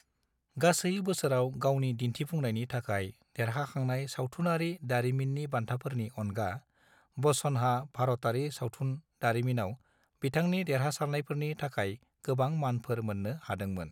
गासै बोसोराव गावनि दिन्थिफुंनायनि थाखाय देरहाखांनाय सावथुनारि दारिमिन्नि बान्थाफोरनि अनगा, बच्चनहा भारतारि सावथुन दारिमिनाव बिथांनि देरहासारनायफोरनि थाखाय गोबां मानफोर मोन्नो हादोंमोन।